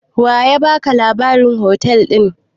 Wanene ya baka labarin hotel ɗin?